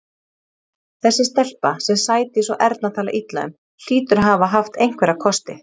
Þessi stelpa, sem Sædís og Erna tala illa um, hlýtur að hafa haft einhverja kosti.